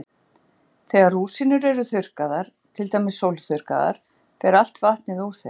Þegar rúsínur eru þurrkaðar, til dæmis sólþurrkaðar, fer allt vatnið úr þeim.